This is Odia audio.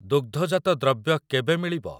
ଦୁଗ୍ଧଜାତ ଦ୍ରବ୍ୟ କେବେ ମିଳିବ?